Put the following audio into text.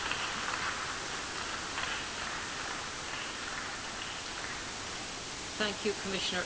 Colleagues, before I open the floor for our group speakers I will not be taking blue cards in the first round.